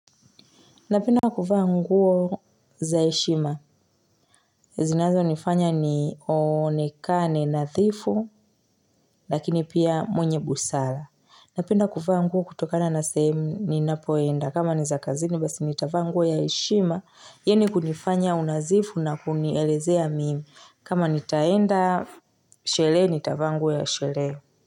Napenda kuvaa nguo zaheshima. Zinazo nifanya ni onekane nadhifu, lakini pia mwenye busara. Napenda kuvaa nguo kutokana na sehemu ni napoenda. Kama ni za kazini, basi nitavaa nguo ya heshima. Yenye kunifanya unadhifu na kunielezea mimi. Kama nitaenda, sherehe nitavaa nguo ya sherehe.